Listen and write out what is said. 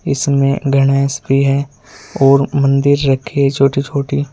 इसमें गणेश भी हैं और मंदिर रखे है छोटी छोटी।